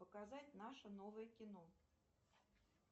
показать наше новое кино